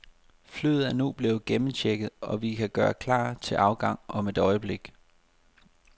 Flyet er nu blevet gennemchecket, og vi kan gøre klar til afgang om et øjeblik.